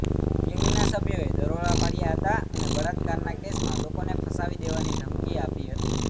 ગેંગના સભ્યોએ દરોડા પાડ્યા હતા અને બળાત્કારના કેસમાં લોકોને ફસાવી દેવાની ધમકી આપી હતી